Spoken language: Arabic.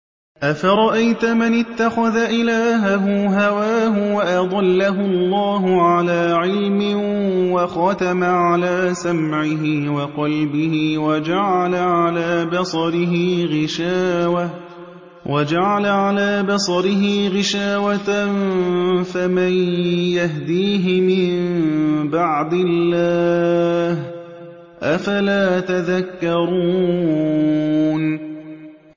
أَفَرَأَيْتَ مَنِ اتَّخَذَ إِلَٰهَهُ هَوَاهُ وَأَضَلَّهُ اللَّهُ عَلَىٰ عِلْمٍ وَخَتَمَ عَلَىٰ سَمْعِهِ وَقَلْبِهِ وَجَعَلَ عَلَىٰ بَصَرِهِ غِشَاوَةً فَمَن يَهْدِيهِ مِن بَعْدِ اللَّهِ ۚ أَفَلَا تَذَكَّرُونَ